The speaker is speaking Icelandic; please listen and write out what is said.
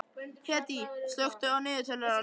Hedí, slökktu á niðurteljaranum.